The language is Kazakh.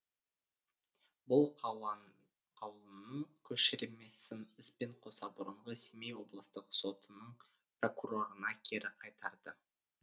бұл қаулының көшірмесін іспен қоса бұрынғы семей облыстық сотының прокурорына кері қайтарды